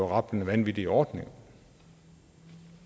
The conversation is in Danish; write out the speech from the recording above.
rablende vanvittig ordning